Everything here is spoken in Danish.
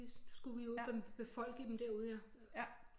Vi skulle ud og befolke dem derude ja